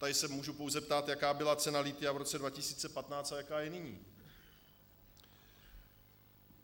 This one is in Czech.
Tady se můžu pouze ptát, jaká byla cena lithia v roce 2015 a jaká je nyní.